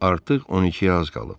Artıq 12-yə az qalıb.